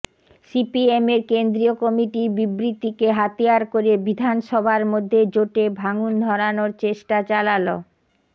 সিপিএমের কেন্দ্রীয় কমিটির বিবৃতিকে হাতিয়ার করে বিধানসভার মধ্যে জোটে ভাঙন ধরানোর চেষ্টা চালাল